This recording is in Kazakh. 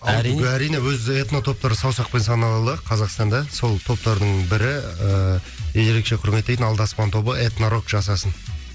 әрине әрине өзі этно топтар саусақпен санарлық қазақстанда сол топтардың бірі мен ерекше кұрметтейтін алдаспан тобы этно рок жасасын